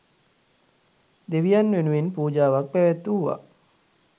දෙවියන් වෙනුවෙන් පූජාවක් පැවැත්වූවා.